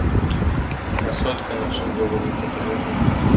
красотка на всю голову покажи мне